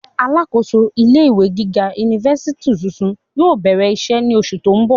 Alákòóso ilé ìwé gíga unifási tuntun yóò bẹrẹ iṣẹ ni oṣu ti n bọ.